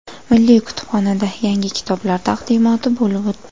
Milliy kutubxonada yangi kitoblar taqdimoti bo‘lib o‘tdi.